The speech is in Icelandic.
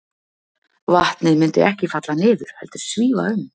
Vatnið myndi ekki falla niður, heldur svífa um.